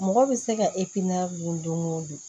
Mɔgɔ bɛ se ka dun don o don